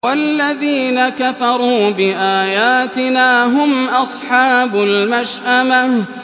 وَالَّذِينَ كَفَرُوا بِآيَاتِنَا هُمْ أَصْحَابُ الْمَشْأَمَةِ